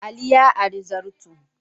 Ali ya ari zarto.